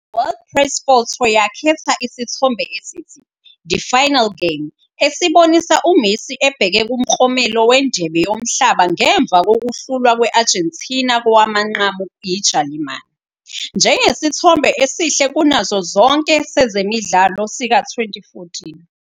World Press Photo yakhetha isithombe esithi "The Final Game," esibonisa uMessi ebheke kuMklomelo weNdebe yoMhlaba ngemva kokuhlulwa kwe-Argentina kowamanqamu yiJalimane, njengesithombe esihle kunazo zonke sezemidlalo sika-2014.